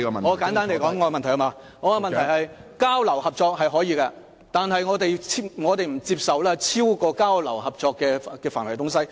我的關注是，交流合作是可以的，但我們不接受超出交流合作範圍的事情。